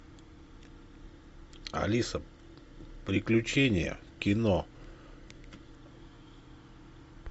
алиса приключения кино